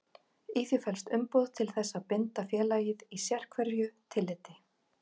Í því felst umboð til þess að binda félagið í sérhverju tilliti.